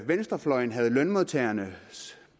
venstrefløjen havde lønmodtagernes